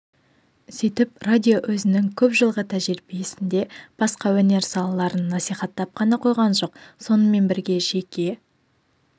сөйтіп радио өзінің көп жылғы тәжірибесінде басқа өнер салаларын насихаттап қана қойған жоқ сонымен бірге жеке